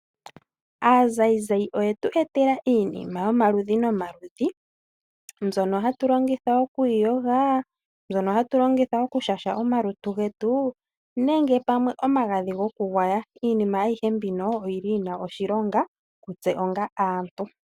Aazayizayi oyetu etela iinima yomaludhi nomaludhi, mbyono hatu longitha oku iyoga, mbyono hatu longitha okushasha omalutu getu, nenge pamwe omagadhi go kugwaya. Iinima ayihe mbino oyili yina oshilonga kutse onga aantu.